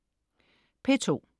P2: